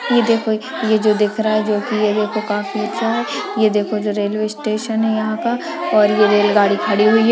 ये देखो ये जो दिख रहा है जो की एगो तो काफी अच्छा है ये देखो जो रेलवे स्टेशन हैं यहां का और ये रेलगाड़ी खड़ी हुई है।